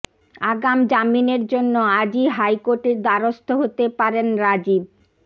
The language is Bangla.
আগাম জামিনের জন্য আজই হাইকোর্টের দ্বারস্থ হতে পারেন রাজীব